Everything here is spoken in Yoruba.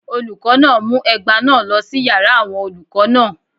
Olùkọ́ náà mú ẹgba náà lọ sí yàrá àwọn olùkọ́ náà